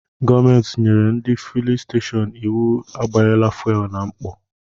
Gọọmenti nyere ndị fulin stashọọnu íwú agbanyela Fuwelu na mkpọ.